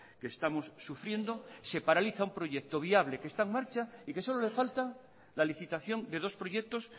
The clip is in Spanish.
que estamos sufriendo se paraliza un proyecto viable que está en marcha y que solo le falta la licitación de dos proyectos